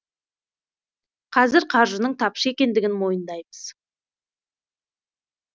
қазір қаржының тапшы екендігін мойындаймыз